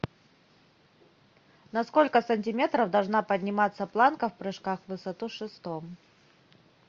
на сколько сантиметров должна подниматься планка в прыжках в высоту с шестом